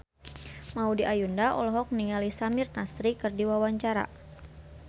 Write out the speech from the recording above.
Maudy Ayunda olohok ningali Samir Nasri keur diwawancara